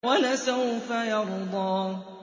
وَلَسَوْفَ يَرْضَىٰ